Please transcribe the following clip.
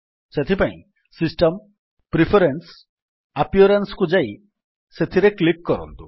ସେଥିପାଇଁ system preference appearance କୁ ଯାଇ ସେଥିରେ କ୍ଲିକ୍ କରନ୍ତୁ